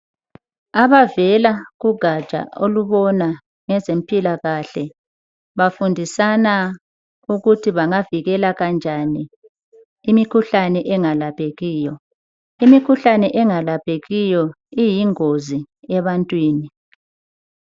Abavela kugatsha olubona ngezempilakahle bafundisana ukuthi bangavikela kanjani imikhuhlane engalaphekiyo ,imkhuhlane engalaphekiyo iyingozi ebantwini.